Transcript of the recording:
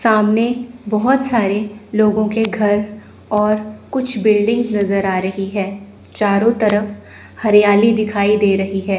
सामने बहोत सारे लोगों के घर और कुछ बिल्डिंग नजर आ रही है चारों तरफ हरियाली दिखाई दे रही है।